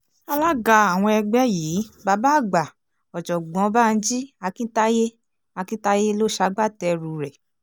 alága àwọn ẹgbẹ́ yìí bàbá àgbà ọ̀jọ̀gbọ́n banji akintaye akintaye ló ṣagbátẹrù rẹ̀